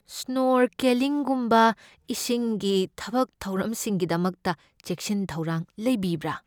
ꯁ꯭ꯅꯣꯔꯀꯦꯂꯤꯡꯒꯨꯝꯕ ꯏꯁꯤꯡꯒꯤ ꯊꯕꯛ ꯊꯧꯔꯝꯁꯤꯡꯒꯤꯗꯃꯛꯇ ꯆꯦꯛꯁꯤꯟ ꯊꯧꯔꯥꯡ ꯂꯩꯕꯤꯕ꯭ꯔꯥ?